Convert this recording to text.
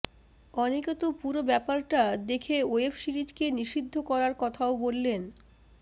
অনেকে তো পুরো ব্যাপারটা দেখে ওয়েব সিরিজকে নিষিদ্ধ করার কথাও বললেন